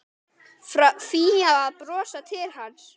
Fía að brosa til hans.